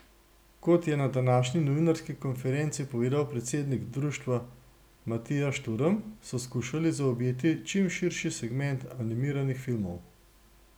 Kot je na današnji novinarski konferenci povedal predsednik društva Matija Šturm, so skušali zaobjeti čim širši segment animiranih filmov.